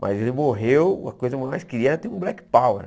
Mas ele morreu, a coisa mais queria era ter um black power.